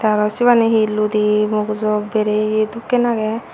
aro sibani he ludi mugujo beriye dokken aagey.